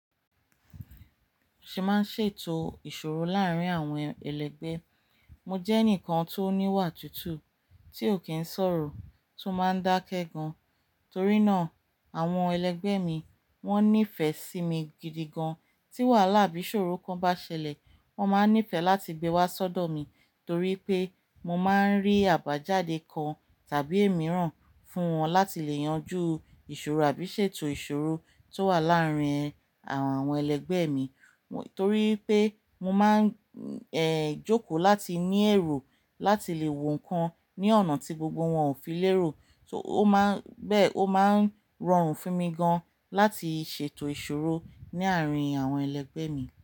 Ṣé máa ń ṣètò ìṣòro láàárín àwọn ẹlẹgbẹ́? Mo jẹ́ ẹnìkan tó níwà tútù, tí ò kí ń sọ̀rọ̀ tó máa ń dákẹ́ gan, torí náà àwọn ẹlẹgbẹ́ mi wọ́n nífẹ̀ẹ́ sí mi gidi gan, tí wàhálà bí ṣòro kan bá ṣẹlẹ̀, wọ́n máa nífẹ̀ẹ́ láti gbé wá sọ́dọ̀ mi torí pé mo máa ń rí àbájáde kan tàbí èmíìràn fún wọn láti lè yanjú ìṣòro àbí ṣètò ìṣòro tó wà láàárín àwọn ẹlẹgbẹ́ mi, torí pé mo máa ń, ẹ́, jókòó láti ní ẹ̀ro láti lè wo nǹkan ní ọ̀nà tí gbogbo wọn ò fi lérò, so ó máa ń, bẹ́ẹ́, ó máa ń rọrùn fún mi gan láti ṣètò ìṣòro ní àárín àwọn ẹlẹgbẹ́ mi.